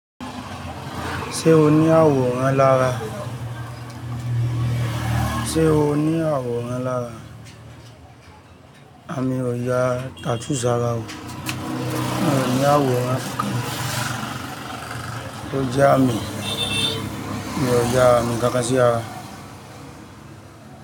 Ṣé o ní àwòrán lára? Sé o ní àwòrán lára? A mi ò ya tattoo sara o. Mi ò ní àwòrán kankan, tó je àmì, mi ò yá àmì kán kán sí ara.